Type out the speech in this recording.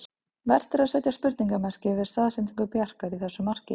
Vert er að setja spurningarmerki við staðsetningu Bjarkar í þessu marki.